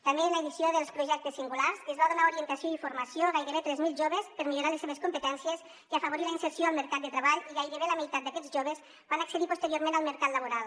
també en l’edició dels projectes singulars es va donar orientació i formació a gairebé tres mil joves per millorar les seves competències i afavorir la inserció al mercat de treball i gairebé la meitat d’aquests joves van accedir posteriorment al mercat laboral